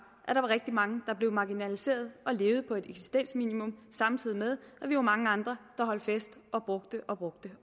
at der var rigtig mange der blev marginaliseret og levede på et eksistensminimum samtidig med at vi var mange andre der holdt fest og brugte og brugte